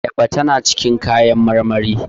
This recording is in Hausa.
Ayaba tana cikin kayan marmari